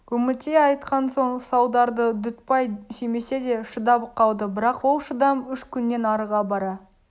үмітей айтқан соң салдарды дүтбай сүймесе де шыдап қалды бірақ ол шыдам үш күннен арыға бара